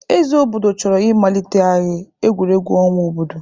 Eze obodo chọrọ ịmalitegharị egwuregwu ọnwa obodo.